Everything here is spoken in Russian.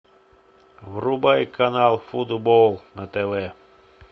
врубай канал футбол на тв